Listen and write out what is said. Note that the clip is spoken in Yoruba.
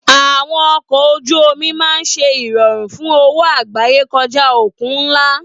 Àwọn ọkọ̀ ojú omi máa ń ṣe ìrọ̀rùn fún òwò àgbáyé kọjá òkun ńlá.